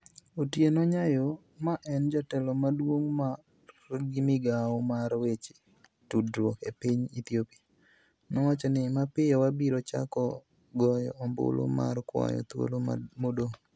Otieno Nyayoo, ma en jatelo maduong' mar migawo mar weche tudruok e piny Ethiopia, nowacho ni, "Mapiyo, wabiro chako goyo ombulu mar kwayo thuolo modong'".